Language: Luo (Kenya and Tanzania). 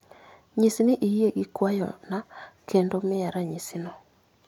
Nyis ni iyie gi kwayo na kendo miya ranyisi no.